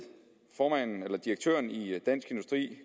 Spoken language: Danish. direktøren i dansk industri